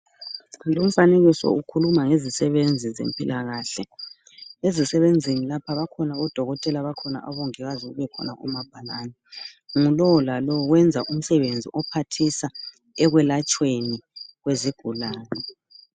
Lumfanekiso ukhuluma ngezisebenzi zempilakahle. Ezisebenzini lapha bakhona odokotela bakhona abongikazi, kubekhona labomabhalani. Ngulowu lalowu wenza umsenzi ophathisa ekwelatshweni kwezigulane.